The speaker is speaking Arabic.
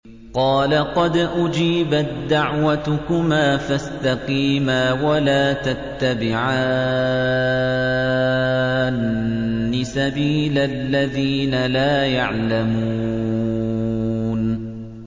قَالَ قَدْ أُجِيبَت دَّعْوَتُكُمَا فَاسْتَقِيمَا وَلَا تَتَّبِعَانِّ سَبِيلَ الَّذِينَ لَا يَعْلَمُونَ